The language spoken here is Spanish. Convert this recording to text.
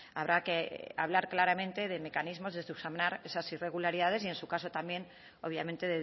habrá que hablar claramente de mecanismos de subsanar esas irregularidades y en su caso también obviamente